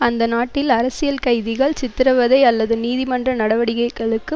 அந்த நாட்டில் அரசியல் கைதிகள் சித்திரவதை அல்லது நீதிமன்ற நடவடிக்கைகளுக்கு